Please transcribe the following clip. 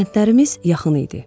Kəndlərimiz yaxın idi.